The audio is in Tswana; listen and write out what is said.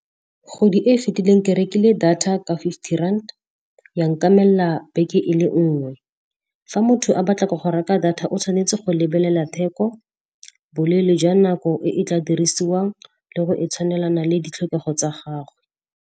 Godi e e fetileng ke rekile data ka fifty rand, ya nkamella beke e le nngwe. Fa motho a batla go reka data o tshwanetse go lebelela theko, boleele jwa nako e e tla dirisiwang le go e tshwanelana le ditlhokego tsa gagwe.